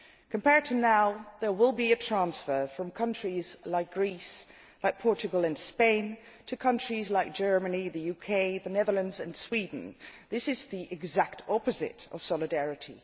Compared with now, there will be a transfer from countries like Greece, Portugal and Spain to countries like Germany, the UK, the Netherlands and Sweden. This is the exact opposite of solidarity.